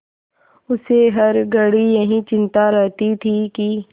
उसे हर घड़ी यही चिंता रहती थी कि